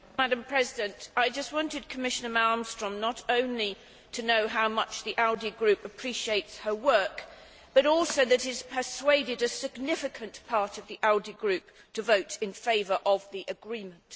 Madam President, I just wanted Commissioner Malmström to know not only how much the ALDE Group appreciates her work, but also that it has persuaded a significant part of the ALDE Group to vote in favour of the agreement.